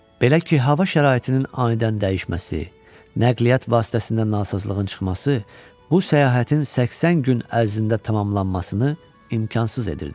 Belə ki, hava şəraitinin anidən dəyişməsi, nəqliyyat vasitəsində nasazlığın çıxması bu səyahətin 80 gün ərzində tamamlanmasını imkansız edirdi.